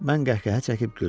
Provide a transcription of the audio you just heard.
Mən qəhqəhə çəkib güldüm.